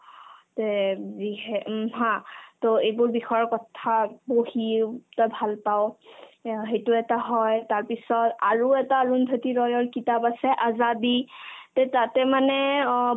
তে উম যিহে উম haa to এইবোৰ বিষয়ৰ কথা পঢ়িও তই ভাল পাৱ এয়া সেইটো এটা হয় তাৰপিছত আৰু এটা অৰুন্ধতী ৰয়ৰ কিতাপ আছে azadi এ তাতে মানে অ